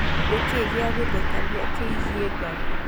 nĩ kĩĩ gĩa gũthekanĩa kĩĩgĩe ngarĩ